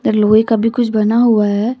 लोहे का भी कुछ बना हुआ है।